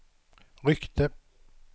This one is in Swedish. ryckte